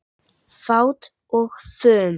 Fát og fum